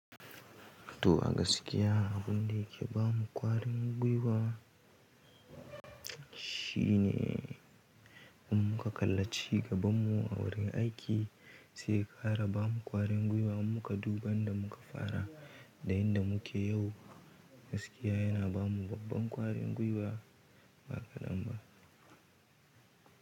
To a gaskiya abin da yake ba mu ƙwarin gwiwa shine in muka kalla ci gaban mu a wurin aiki sai ya ƙara bamu ƙwarin gwiwa. In muka duba inda muka fara da inda muke yau, gaskiya yana ba mu babban ƙwarin gwiwa. Baƙaɗan ba.